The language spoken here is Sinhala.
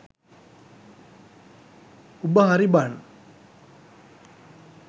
උබ හරි බන්